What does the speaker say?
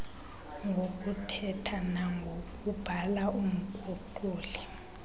ngokuthetha nangokubhala umguquli